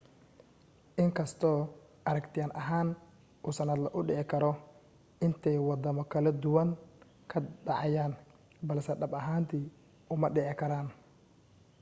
in kastoo aragtiyan ahaan uu sannadle u dhici karo intay waddamo kala duwan ka dhacayaan balse dhab ahaantii uma dhici karaan